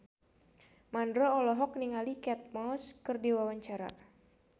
Mandra olohok ningali Kate Moss keur diwawancara